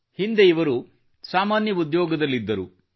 ಹಿಂದೆ ಇವರು ಸಾಮಾನ್ಯ ಉದ್ಯೋಗದಲ್ಲಿದ್ದರು